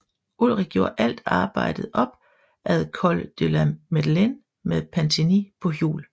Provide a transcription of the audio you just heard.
Ullrich gjorde alt arbejdet op ad Col de la Madeleine med Pantani på hjul